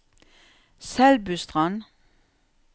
Selbustrand